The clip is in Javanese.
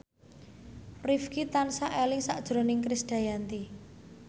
Rifqi tansah eling sakjroning Krisdayanti